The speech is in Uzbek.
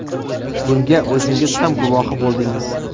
Bunga o‘zingiz ham guvohi bo‘ldingiz.